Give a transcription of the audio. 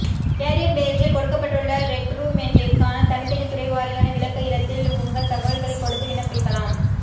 carrier பேஜில் கொடுக்கப்பட்டுள்ள ரெக்ரூட்மெண்டிற்கான தனித்தனி துறைவாரியான விளக்க இடத்தில் உங்கள் தக்வல்களை கொடுத்து விண்ணப்பிக்கலாம்